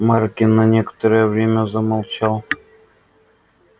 маркин на некоторое время замолчал